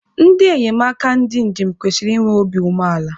Ndị enyemaka ndị njem kwesiri inwe obi umeala